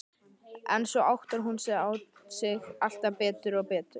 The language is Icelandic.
En svo áttar hún sig alltaf betur og betur.